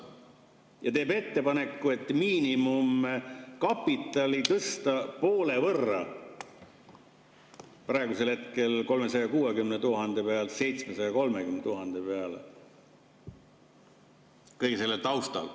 Ta teeb ettepaneku, et miinimumkapitali tõsta poole võrra, praegusel hetkel 360 000 pealt 730 000 peale kõige selle taustal.